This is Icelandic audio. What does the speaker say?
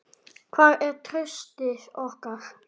Hvar er traustið við okkur?